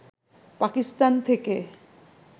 পাকিস্তান থেকে